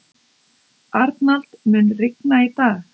Arnald, mun rigna í dag?